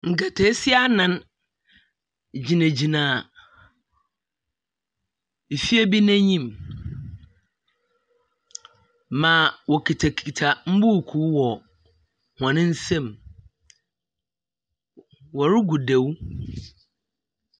Nketeesia anan gyinagyina efie bi n'enyim. Ma wɔkitakita mbuukuu wɔ hɔn nsam. Wɔregu dew.